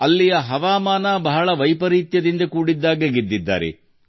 ಅಲ್ಲಿನ ಹವಾಮಾನ ಪ್ರತಿಕೂಲವಾಗಿದ್ದಾಗಲೂ ಅವರು ಈ ಚಿನ್ನವನ್ನು ಗೆದ್ದರು